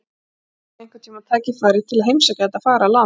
Kannski fæ ég einhvern tíma tækifæri til að heimsækja þetta fagra land.